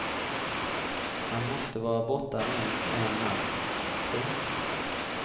Man måste vara borta minst en natt. punkt